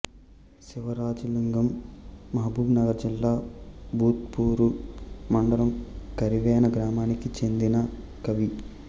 Sivarajalingam Mahabubnagar జిల్లా బూత్పూరు మండలం కరివెన గ్రామానికి చెందిన కవి